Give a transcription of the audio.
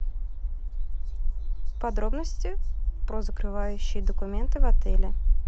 подробности про закрывающие документы в отеле